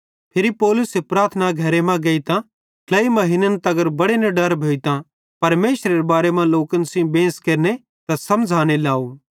फिरी पौलुसे प्रार्थना घरे मां गेइतां ट्लेई महीन्न तगर बड़े निडर भोइतां परमेशरेरे राज़्ज़ेरे बारे मां लोकन सेइं बेंस केरने समझ़ाने लाव